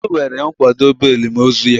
Anyi ewere kwadobe elim ozu ya.